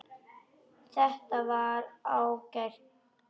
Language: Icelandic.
Þetta var ágætt rúm.